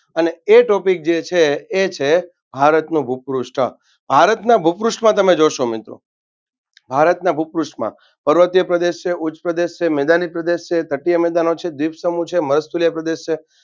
અને એ topic જે છે એ છે ભારતનો ભૂપૃષ્ઠ ભારતના ભૂપૃષ્ઠમાં તમે જોશો મિત્રો ભારતના ભૂપૃષ્ઠમાં પર્વતીય પ્રદેશ છે ઉચ્ચપ્રદેશ છે મેદાની પ્રદેશ છે તટિય મેદાનો છે દ્વીપસમૂહો છે મળસ્થલીય પ્રદેશો છે.